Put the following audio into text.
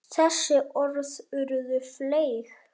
Þessi orð urðu fleyg.